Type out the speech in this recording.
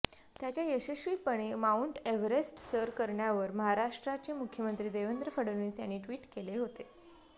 त्याच्या यशस्वीपणे Mount Everest सर करण्यावर महाराष्ट्राचे मुख्यमंत्री देवेंद्र फडणवीस यांनी ट्विट केले होते